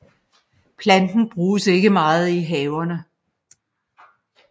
Planten bruges ikke meget i haverne